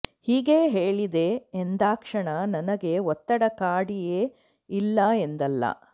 ಹೀಗೆ ಹೇಳಿದೆ ಎಂದಾಕ್ಷಣ ನನಗೆ ಒತ್ತಡ ಕಾಡಿಯೇ ಇಲ್ಲ ಎಂದಲ್ಲ